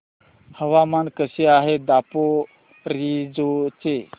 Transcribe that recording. हवामान कसे आहे दापोरिजो चे